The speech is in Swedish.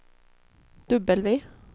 W